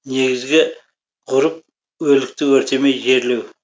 негізгі ғұрып өлікті өртемей жерлеу